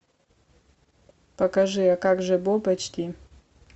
покажи а как же боб эйч ди